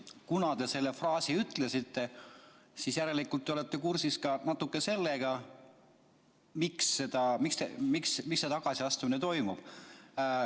Kuna te selle fraasi ütlesite, siis järelikult te olete natuke kursis ka sellega, miks see tagasiastumine toimub.